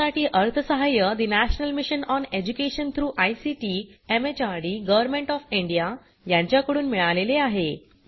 यासाठी अर्थसहाय्य National Mission on Education through ICT MHRD Government of India यांच्याकडून मिळालेले आहे